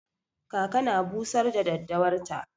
Kaka na busar da daddawar ta.